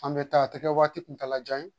An bɛ taa a tɛ kɛ waati kuntalajan ye